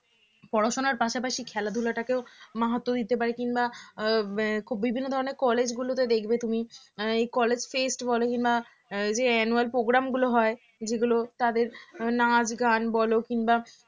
পড়াশোনার পাশাপাশি খেলাধূলাটাকেও মাহাত্ব দিতে পারে কিংবা উম বিভিন্ন ধরনের college গুলোতে দেখবে তুমি এই college fest বলো বা annual programme গুলো হয় যেগুলো তাদের নাচ গান বলো কিংবা